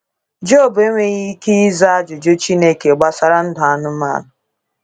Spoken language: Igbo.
Job enweghị ike ịza ajụjụ Chineke gbasara ndụ anụmanụ.